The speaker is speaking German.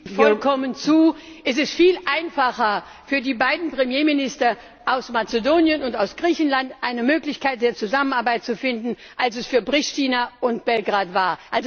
Ich stimme Ihnen vollkommen zu. Es ist viel einfacher für die beiden Premierminister aus Mazedonien und aus Griechenland, eine Möglichkeit der Zusammenarbeit zu finden, als es für Priština und Belgrad war.